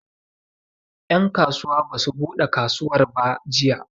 En kasuwa basu buɗe kasuwar ba jiya